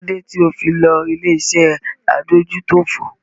Kí ló dé tí o fi lo ilé-iṣẹ́ adójútòfò?